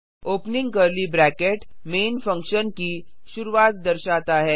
opening curly bracket main function की शुरूआत दर्शाता है